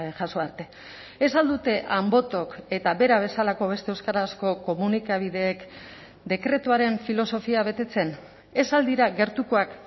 jaso arte ez al dute anbotok eta bera bezalako beste euskarazko komunikabideek dekretuaren filosofia betetzen ez al dira gertukoak